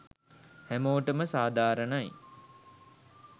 හැමෝටම සාධාරණයි